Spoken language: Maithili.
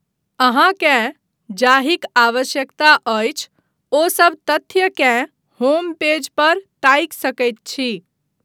अहाँकेँ जाहिक आवश्यकता अछि ओसभ तथ्यकेँ होम पेज पर ताकि सकैत छी।